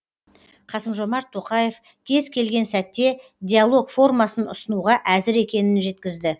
қасым жомарт тоқаев кез келген сәтте диалог формасын ұсынуға әзір екенін жеткізді